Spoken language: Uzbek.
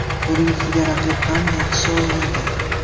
Buning ustiga raqib ham yaxshi o‘ynadi.